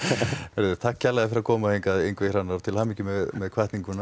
heyrðu takk kærlega fyrir að koma hingað Ingvi Hrannar og til hamingju með